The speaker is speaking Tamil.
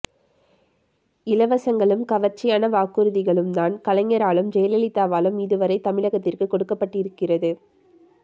இலவசங்களும் கவர்ச்சியான வாக்குறுதிகளும் தான் கலைஞராலும் ஜெயலலிதாவாலும் இதுவரை தமிழகத்திற்கு கொடுக்கப் பட்டிருக்கிறது